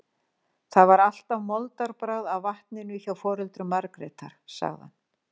Það var alltaf moldarbragð af vatninu hjá foreldrum Margrétar, sagði hann.